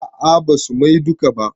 A'a basu mai duka ba